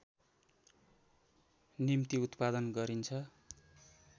निम्ति उत्पादन गरिन्छ